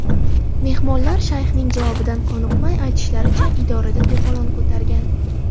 Mehmonlar shayxning javobidan qoniqmay, aytishlaricha, idorada to‘polon ko‘targan.